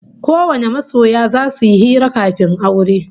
Kowane masoya zasu yi hira kafin aure